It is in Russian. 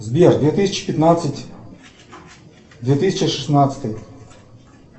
сбер две тысячи пятнадцать две тысячи шестнадцатый